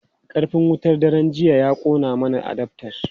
Karfin wutar daren jiya ya kona masa adaftar.